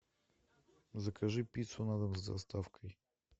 закажи пиццу на дом с доставкой